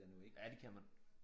Ja det kan man